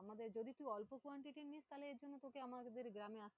আমাদের যদি খুব অল্প quantity নিস, তাহলে এরজন্যে তোকে আমাদের গ্রামে